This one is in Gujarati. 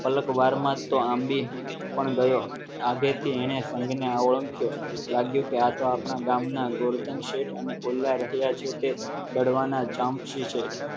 પલક વારમાં તો આંબે પણ ગયો આજે તેણે સંઘને ઓળખ્યો લાગ્યું કે આ તો આપણા ગામના ગોવર્ધન શેઠ અને રહ્યા છે તે તળવાના જામશે છે